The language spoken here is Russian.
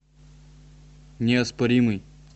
неоспоримый